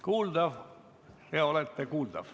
Kuuldav, jaa, olete kuuldav.